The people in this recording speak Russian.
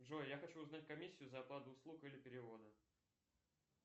джой я хочу узнать комиссию за оплату услуг или перевода